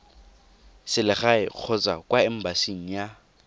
selegae kgotsa kwa embasing ya